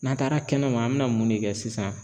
N'an taara kɛnɛma an mɛ na mun de kɛ sisan ?